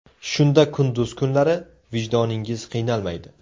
Shunda kunduz kunlari vijdoningiz qiynalmaydi.